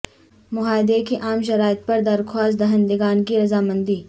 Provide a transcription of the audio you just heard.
معاہدے کی عام شرائط پر درخواست دہندگان کی رضامندی